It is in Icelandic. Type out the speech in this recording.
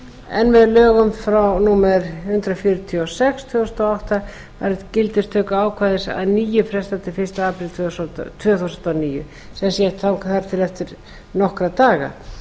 en með lögum númer hundrað fjörutíu og sex tvö þúsund og átta var gildistökuákvæði að nýju frestað til fyrsta apríl tvö þúsund og níu þá tók hæstiréttur nokkra daga